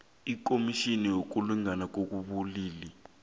ikhomitjhini yokulingana ngokobulili